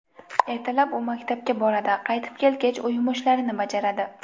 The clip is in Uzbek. Ertalab u maktabga boradi, qaytib kelgach uy yumushlarini bajaradi.